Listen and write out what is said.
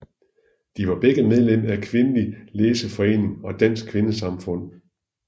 De var begge medlem af Kvindelig Læseforening og Dansk Kvindesamfund